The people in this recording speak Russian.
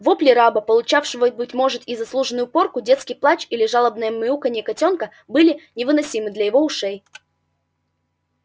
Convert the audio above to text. вопли раба получавшего быть может и заслуженную порку детский плач или жалобное мяуканье котёнка были невыносимы для его ушей